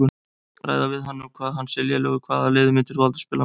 Ræða við um hann hvað hann sé lélegur Hvaða liði myndir þú aldrei spila með?